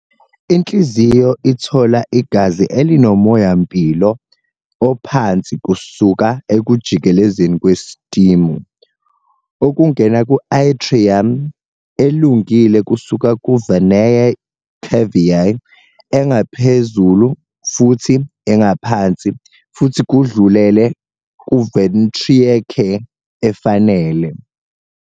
Inhliziyo ithola igazi elinomoya-mpilo ophansi kusuka ekujikelezeni kwesistimu, okungena ku-atrium elungile kusuka ku-venae cavae ephezulu futhi engaphansi futhi kudlulele ku-ventricle efanele.